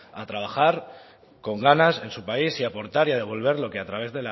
a trabajar con ganas en su país y aportar y devolver lo que a través